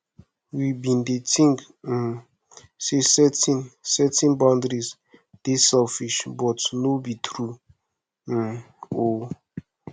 we bin dey tink um sey setting setting boundaries dey selfish but no be true um o